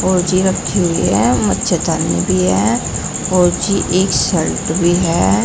और जी रखी हुई है। मच्छरदानी भी है और जी एक शर्ट भी है।